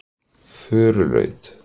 Furulaut